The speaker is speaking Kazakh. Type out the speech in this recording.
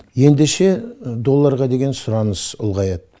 ендеше долларға деген сұраныс ұлғаяды